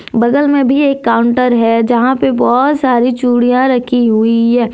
बगल में भी एक काउंटर है जहां पे बहोत सारी चूड़ियां रखी हुई है।